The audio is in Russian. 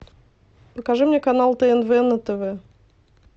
покажи мне канал тнв на тв